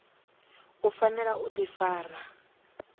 u fanela u ḓifara nga